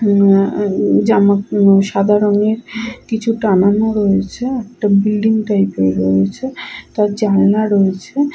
উম ম সাদা রংয়ের কিছু টানানো রয়েছে । একটা বিল্ডিং টাইপ - এর রয়েছে তার জানলা রয়েছে।